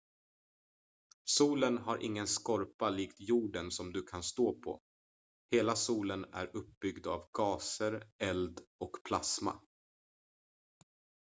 solen har ingen skorpa likt jorden som du kan stå på hela solen är uppbyggd av gaser eld och plasma